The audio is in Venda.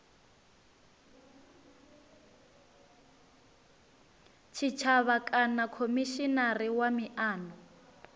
tshitshavha kana khomishinari wa miano